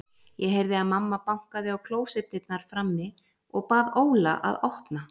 Ég heyrði að mamma bankaði á klósettdyrnar frammi og bað Óla að opna.